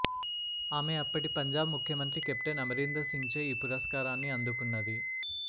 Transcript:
ఆమె అప్పటి పంజాబ్ ముఖ్యమంత్రి కెప్టెన్ అమరీందర్ సింగ్ చే ఈ పురస్కారాన్ని అందుకున్నది